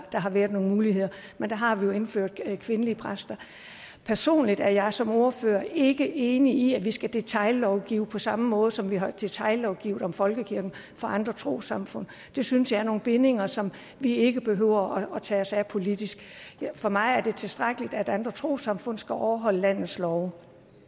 der har været nogle muligheder men der har vi jo indført kvindelige præster personligt er jeg som ordfører ikke enig i at vi skal detaillovgive på samme måde som vi har detaillovgivet om folkekirken for andre trossamfund det synes jeg giver nogle bindinger som vi ikke behøver at tage os af politisk for mig er det tilstrækkeligt at andre trossamfund skal overholde landets love